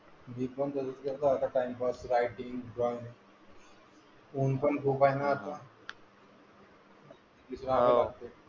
मी पण आता करत होतो टाइमपास. रायटिंग जॉब, ऊन पण खूप आहे ना आता. ,.